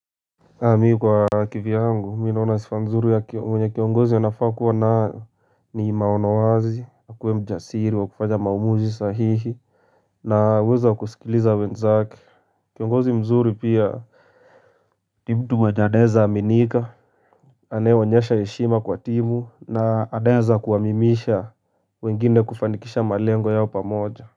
Mimi kwa kivyangu mimi naona sifa mzuri ya mwenye kiongozi anafaa kuwa na ni maono wazi akuwe mjasiri wa kufanya maamuzi sahihi. Na uwezo wa kusikiliza wenzake kiongozi mzuri pia ni mtu mwenye anaeza aminika. Anayeonyesha heshima kwa timu na anaeza kuamimisha wengine kufanikisha malengo yao pamoja.